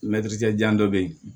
jan dɔ be yen